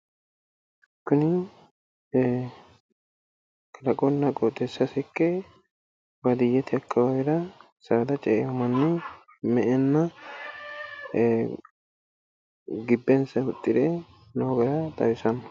Kuni ee kalaqunna qooxeessa ikke baadiyyete akkawaawera saada ce'aa manni me'enna gibbensa huxxire noo gara xawisanno.